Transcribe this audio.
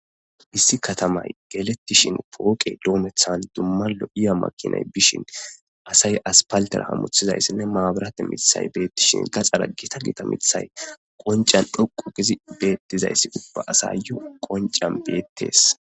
Hissi katamay gelettishin pooqe doomethan dumma lo7iya makinay bishin asay aspaltera hamuthizayssinne maaburate mithay beettishin gaxxara gita gita mithay qoncan dhoqo kizi beettizayssi ubba asayyu qoncan beettees